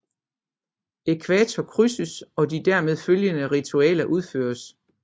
Ækvator krydses og de dermed følgende ritualer udføres